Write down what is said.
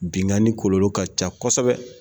Binnkanni kɔlɔlɔ ka ca kosɛbɛ